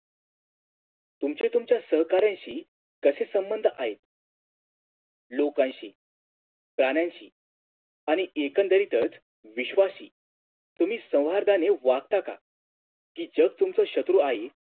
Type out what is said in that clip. तुमचे तुमच्या सहकार्यांशी कशे संबंध आहेत लोकांशी प्राण्यांशी आणि एकंदरीतच विश्वाशी तुम्ही संवर्धने वागत का कि जग तुमचं क्षत्रू आहे